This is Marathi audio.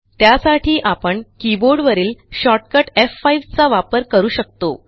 त्यासाठी आपण कीबोर्ड वरील शॉर्टकट एफ5 चा वापर करू शकतो